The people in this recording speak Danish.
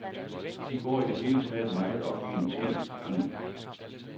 De går i det hele taget meget op i en ting ad gangen.